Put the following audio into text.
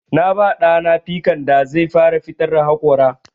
Na ba ɗa na pikan da zai fara fitar da haƙora.